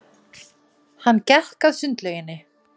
Hann gekk að sundlauginni.